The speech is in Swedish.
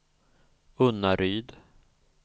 Unnaryd